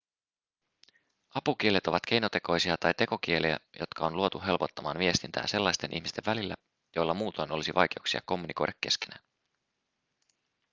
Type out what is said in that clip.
apukielet ovat keinotekoisia tai tekokieliä jotka on luotu helpottamaan viestintää sellaisten ihmisten välillä joilla muutoin olisi vaikeuksia kommunikoida keskenään